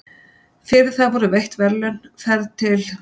Fyrir það voru veitt verðlaun, ferð til